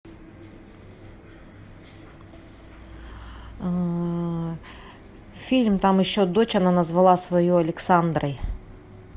фильм там еще дочь она назвала свою александрой